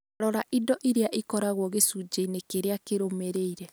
Rora indo iria ikoragwo gĩcunjĩ-inĩ kĩrĩa kĩrũmĩrĩire